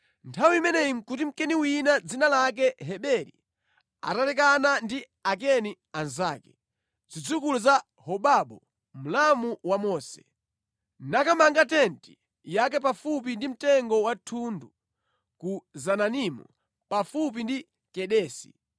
Nthawi imeneyo nʼkuti Mkeni wina dzina lake Heberi atalekana ndi Akeni anzake, zidzukulu za Hobabu, mlamu wa Mose, nakamanga tenti yake pafupi ndi mtengo wa thundu ku Zananimu pafupi ndi Kedesi.